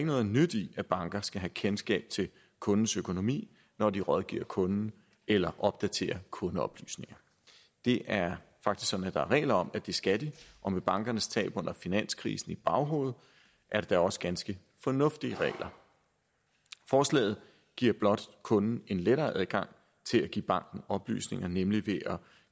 noget nyt i at banker skal have kendskab til kundens økonomi når de rådgiver kunden eller opdaterer kundeoplysninger det er faktisk sådan at der er regler om at det skal de og med bankernes tab under finanskrisen i baghovedet er det da også ganske fornuftige regler forslaget giver blot kunden en lettere adgang til at give banken oplysninger nemlig ved at